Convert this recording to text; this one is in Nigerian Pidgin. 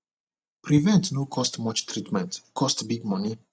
prevent no cost much treatment cost big money